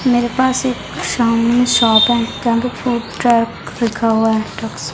मेरे पास एक शॉप है रखा हुआ है